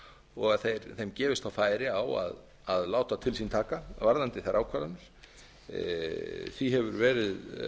og að þeim gefist þá færi á að láta til sín taka varðandi þær ákvarðanir því hefur verið